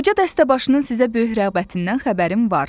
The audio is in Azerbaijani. Qoca dəstəbaşının sizə böyük rəğbətindən xəbərim var.